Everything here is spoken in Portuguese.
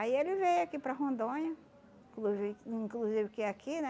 Aí ele veio aqui para Rondônia, inclusive hum inclusive que aqui, né?